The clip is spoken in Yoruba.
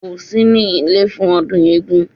Kò sí ní ilé fún ọdún eégún